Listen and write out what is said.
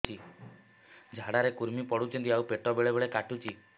ଝାଡା ରେ କୁର୍ମି ପଡୁଛନ୍ତି ଆଉ ପେଟ ବେଳେ ବେଳେ କାଟୁଛି